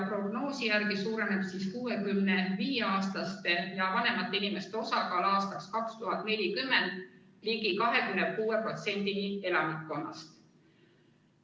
Prognoosi järgi suureneb 65-aastaste ja vanemate inimeste osakaal aastaks 2040 ligi 26%-ni elanikkonnast.